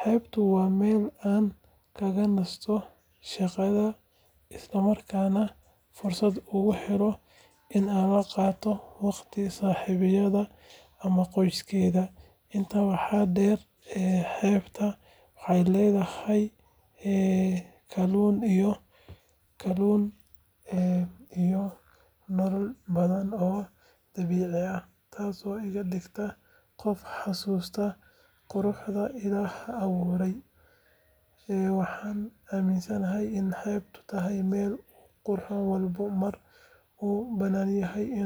Xeebtu waa meel aan kaga nasto shaqada, isla markaana aan fursad ugu helo in aan la qaato waqti saaxiibaday ama qoyskeyga. Intaa waxaa dheer, xeebta waxay leedahay kalluun iyo nooleyaal badan oo dabiici ah, taasoo iga dhigta qof xasuusta quruxda Ilaahay abuuray. Waxaan aaminsanahay in xeebtu tahay meel uu qof walba mar u baahanyahay in uu tago.